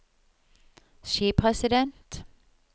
skipresident